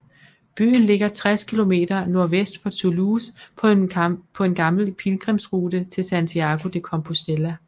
Byen ligger 60 km nordvest for Toulouse på en gammel pilgrimsrute til Santiago de Compostela